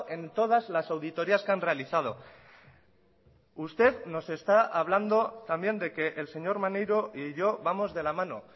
en todas las auditorias que han realizado usted nos está hablando también de que el señor maneiro y yo vamos de la mano